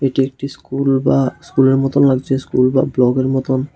এটি একটি স্কুল বা স্কুলের মত লাগছে স্কুল বা ব্লকের মতন।